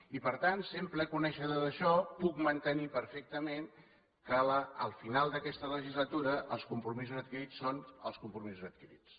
i per tant sent ple coneixedor d’això puc mantenir perfectament que al final d’aquesta legislatura els compromisos adquirits són els compromisos adquirits